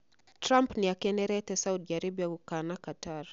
Trump niakenerete Saudi Aribia gũkana Qatar